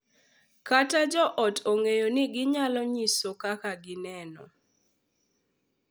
Ka jo ot ong’eyo ni ginyalo nyiso kaka gineno